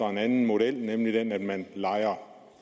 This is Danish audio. en anden model nemlig den at man lejer